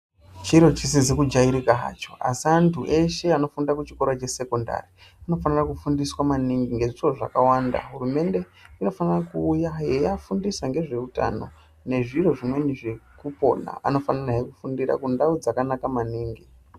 Chiro chisikazi kujairika hacho asi antu eshe anofunda kuchikora chesekendari anofanira kufundiswa maningi ngezviro zvakawanda hurumwnde inofanira kuuya yeiafundisa ngezveutano nezviro zvimweni zvekupona anofanire he kufundira kundau dzakanaka maningi .